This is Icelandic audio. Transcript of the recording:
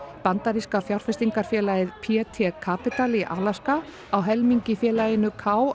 bandaríska fjárfestingarfélagið p t Capital í Alaska á helming í félaginu k